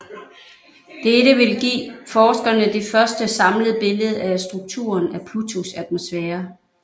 Dette vil give forskerne det første samlede billede af strukturen af Plutos atmosfære